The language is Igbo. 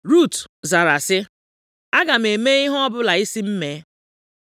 Rut zara sị, “Aga m eme ihe ọbụla ị sị m mee.”